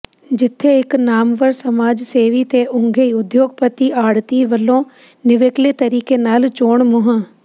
ਜਿਥੇ ਇਕ ਨਾਮਵਰ ਸਮਾਜ ਸੇਵੀ ਤੇ ਉੱਘੇ ਉਦਯੋਗਪਤੀ ਆੜ੍ਹਤੀ ਵੱਲੋਂ ਨਿਵੇਕਲੇ ਤਰੀਕੇ ਨਾਲ ਚੋਣ ਮੁਹ